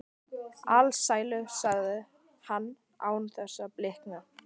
Alsælu, sagði hann án þess að blikna.